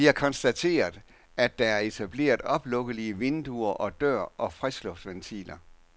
De har konstateret, at der er etableret oplukkelige vinduer og dør og friskluftsventiler.